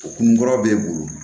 O kun kɔrɔ b'e bolo